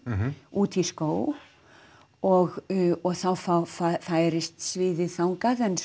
út í skóg og og þá þá færist sviðið þangað en